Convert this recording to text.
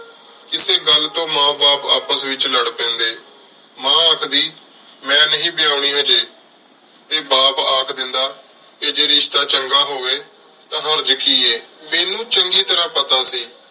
ਕੀਤੀ ਗਲ ਤੋ ਮਾਂ ਬਾਪ ਆਪਸ ਏਚ ਲਾਰ ਪੇੰਡੀ ਮਾਂ ਆਖਦੀ ਮੇਨ ਨਹੀ ਵਾਯਾਨੀ ਹਾਜੀ ਟੀ ਬਾਪ ਅਖ ਦੇਂਦਾ ਜੇ ਰਿਸ਼ਤਾ ਚੰਗਾ ਹੋਵੀ ਟੀ ਹਰਜ ਕੀ ਆਯ ਮੇਨੂ ਚੰਗੀ ਤਰ੍ਹਾ ਪਤਾ ਸੀ